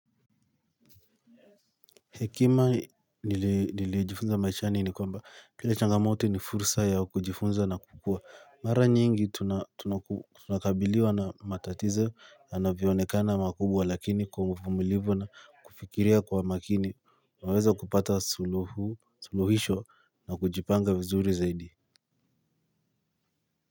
Hekima nilijifunza maishani ni kwamba kile changamoto ni fursa ya kujifunza na kukua mara nyingi tunakabiliwa na matatizo yanavyoonekana makubwa lakini kwa uvumilivu na kufikiria kwa makini unaweza kupata suluhisho na kujipanga vizuri zaidi.